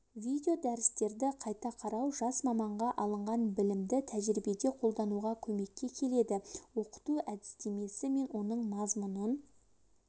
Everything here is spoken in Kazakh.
видеодәрістерді қайта қарау жас маманға алынған білімді тәжірибеде қолдануға көмекке келеді оқыту әдістемесі мен оның мазмұнын